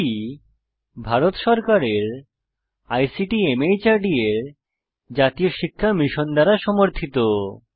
এটি ভারত সরকারের ICT MHRD এর জাতীয় শিক্ষা মিশন দ্বারা সমর্থিত